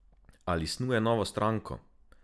Ali snuje novo stranko?